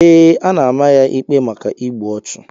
Ee, a na-ama ya ikpe maka igbu ọchụ.